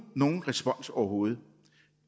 nogen respons overhovedet